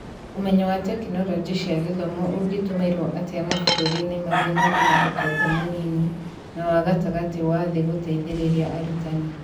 Ũmenyo wa Tekinoronjĩ cia Gĩthomo ũngĩtũmĩra atĩa mabũrũri-inĩ marĩa marĩ na ũtonga mũnini na wa gatagatĩ wa thĩ gũteithĩrĩria arutani?